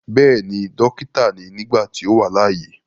Bẹ́ẹ̀ni, dókítà ni nígbà tí ó wà láyé.